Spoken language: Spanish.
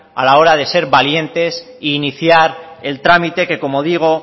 a la hora de ser valientes e iniciar el trámite que como digo